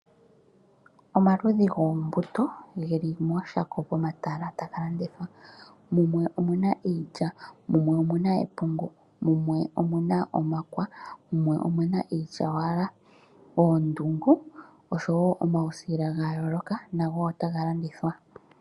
Omaludhi goombuto ge li mooshako pomatala taga landithwa. Mumwe omu na iilya, mumwe omu na epungu, mumwe omu na omakwa, mumwe omu na iilyawala. Oondungu oshowo omausila ga yooloka nago otaga landithwa